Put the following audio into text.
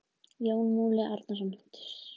Jón Múli Árnason: Djass.